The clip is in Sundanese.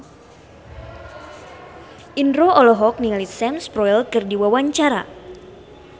Indro olohok ningali Sam Spruell keur diwawancara